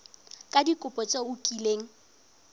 ka dikopo tse o kileng